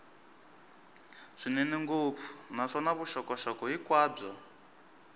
swinene ngopfu naswona vuxokoxoko hinkwabyo